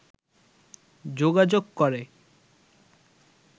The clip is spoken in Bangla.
যোগাযোগ করে